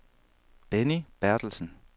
Benny Berthelsen